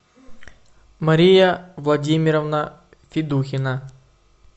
мария владимировна федухина